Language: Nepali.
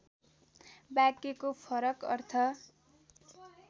वाक्यको फरक अर्थ